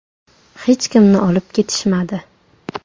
Hech kimni olib ketishmadi.